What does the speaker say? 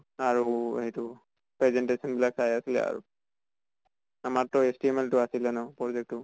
আৰু এইটো presentation বিলাক চাই আছিলে আৰু। আমাৰ টো HTML টো আছিলে ন পৰ্জেক্ত টো